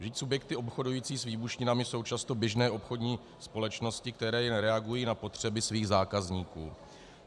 Vždyť subjekty obchodující s výbušninami jsou často běžné obchodní společnosti, které reagují na potřeby svých zákazníků.